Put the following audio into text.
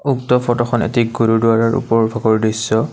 উক্ত ফটোখন এটি গুৰুদ্বাৰৰ ওপৰৰ ভাগৰ দৃশ্য।